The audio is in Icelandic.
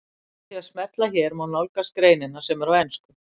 Með því að smella hér má nálgast greinina sem er á ensku.